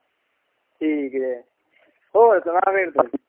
ਠੀਕ ਏ ਹੋਰ ਸੁਣਾ ਫੇਰ ਤੂੰ।